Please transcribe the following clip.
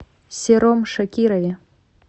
сером шакирове